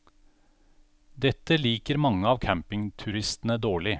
Dette liker mange av campingturistene dårlig.